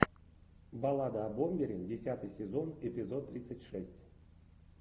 баллада о бомбере десятый сезон эпизод тридцать шесть